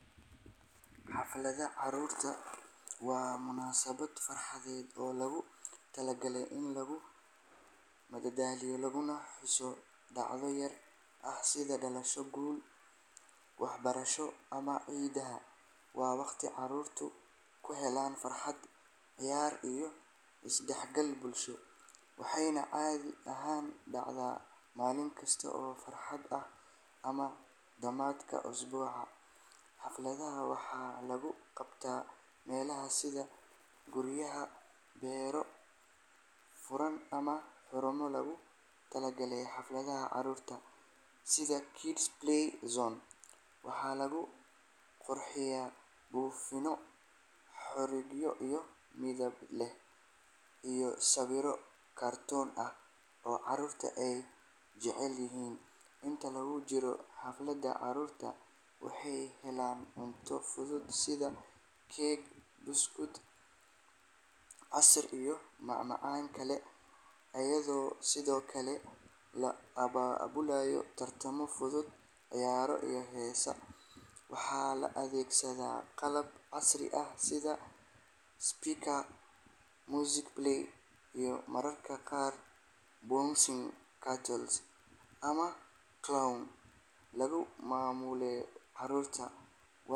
Xafladaha caruurta waa munaasabad farxadeed oo loogu talagalay in lagu madadaaliyo laguna xuso dhacdo gaar ah sida dhalasho, guul waxbarasho ama ciidaha. Waa waqti caruurtu ku helaan farxad, ciyaar iyo isdhexgal bulsho, waxayna caadi ahaan dhacaan maalin kasta oo fasax ah ama dhammaadka usbuuca. Xafladahan waxaa lagu qabtaa meelaha sida guryaha, beero furan ama xarumo loogu talagalay xafladaha caruurta sida kids play zone. Waxaa lagu qurxiyaa buufinno, xarigyo midab leh iyo sawirro kartoon ah oo caruurta ay jecel yihiin. Inta lagu jiro xafladda, caruurta waxay helaan cunto fudud sida keeg, buskud, casiir iyo macmacaan kale, iyadoo sidoo kale loo abaabulo tartamo fudud, ciyaaro iyo heeso. Waxaa la adeegsadaa qalab casri ah sida speaker, music player iyo mararka qaar bouncing castle ama clown lagu maaweeliyo caruurta.